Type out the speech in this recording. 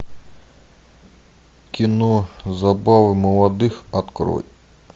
кино забавы молодых открой